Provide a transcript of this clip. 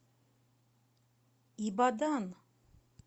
ибадан